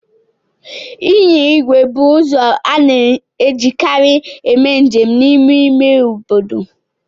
Ịnya igwe bụ ụzọ a na-ejikarị eme njem n'ime ime obodo.